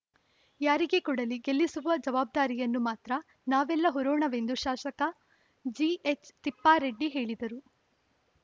ಯಾರಿಗೇ ಕೊಡಲಿ ಗೆಲ್ಲಿಸುವ ಜವಾಬ್ದಾರಿಯನ್ನು ಮಾತ್ರ ನಾವೆಲ್ಲ ಹೊರೋಣವೆಂದು ಶಾಸಕ ಜಿಎಚ್‌ ತಿಪ್ಪಾರೆಡ್ಡಿ ಹೇಳಿದರು